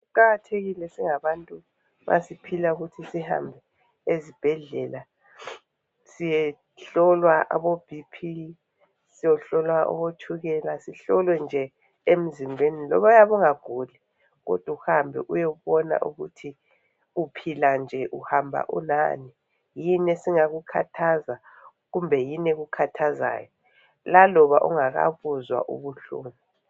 Kuqakathekile singangabantu ma siphila ukuthi sihambe ezibhedlela siyehlolwa aboBP, siyohlolwa abotshukela. Sihlolwe nje emzimbeni loba uyabe ungaguli kodwa uhambe uyebona ukuthi uphila nje uhamba ulani yini esingakukhathaza kumbe yini ekukhathazayo laloba ungakabuzwa ubuhlungu